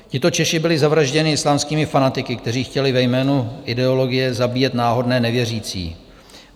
Tito Češi byli zavražděni islámskými fanatiky, kteří chtěli ve jménu ideologie zabíjet náhodné nevěřící.